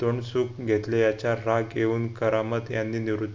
तोंडसुख घेतले याचा राग येऊन करामत यांनी निवृत्ती